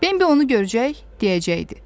Bimbi onu görəcək, deyəcəkdi.